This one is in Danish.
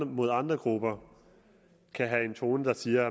mod andre grupper kan have den tone og sige